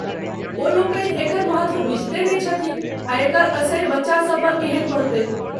ओ लोकनी एकर महत्व बुझिते नहि छथिन आ एकर असरि बच्चा सभ पर केहन पड़तै।